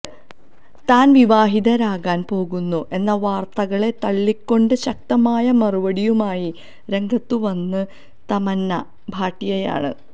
താൻ വിവാഹിതയാകാൻ പോകുന്നു എന്ന വാർത്തകളെ തള്ളിക്കൊണ്ട് ശക്തമായ മറുപടിയുമായി രംഗത്തുവന്ത് തമന്ന ഭാട്ടിയ ആണ്